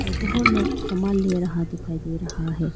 लोग सामान ले रहा दिखाई दे रहा है।